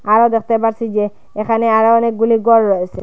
আরো দেখতে পারছি যে এখানে আরও অনেকগুলি গর রয়েছে।